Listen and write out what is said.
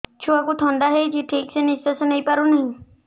ଛୁଆକୁ ଥଣ୍ଡା ହେଇଛି ଠିକ ସେ ନିଶ୍ୱାସ ନେଇ ପାରୁ ନାହିଁ